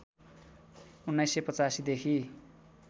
१९८५ देखि